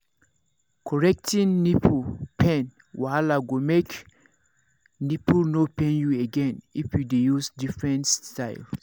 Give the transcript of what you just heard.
correcting nipple pain wahala go make nipple no pain you again if you dey use different styles